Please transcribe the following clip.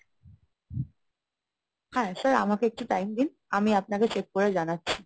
হ্যাঁ, sir আমাকে একটু time দিন, আমি আপনাকে check করে জানাচ্ছি।